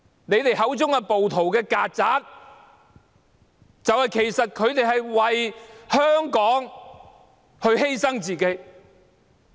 你們口中的"暴徒"、"曱甴"，其實是為香港犧牲自己。